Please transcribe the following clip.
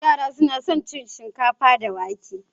Yara suna son cin shinkafa da wake.